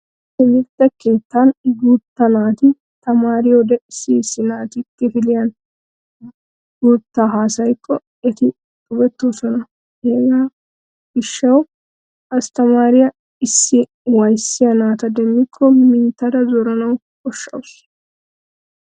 Timirtte keettan guutta naati tamaariyode issi issi naati kifiliyan guuttaa haasayikko eti xubettoosona. He gishshawu asttamaariyaa issi waayissiya naata demmikko minttada zorana koshshawusu.